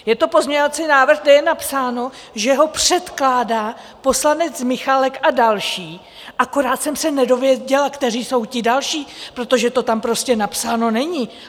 Je to pozměňovací návrh, kde je napsáno, že ho předkládá poslanec Michálek a další, akorát jsem se nedověděla, kteří jsou ti další, protože to tam prostě napsáno není.